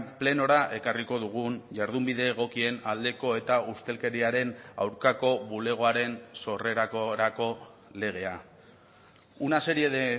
plenora ekarriko dugun jardunbide egokien aldeko eta ustelkeriaren aurkako bulegoaren sorrerakorako legea una serie de